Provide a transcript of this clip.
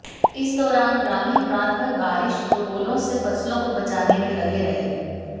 इस दौरान ग्रामीण रातभर बारिश और ओलों से फसलों को बचाने में लगे रहे